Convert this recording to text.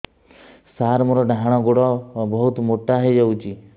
ସାର ମୋର ଡାହାଣ ଗୋଡୋ ବହୁତ ମୋଟା ହେଇଯାଇଛି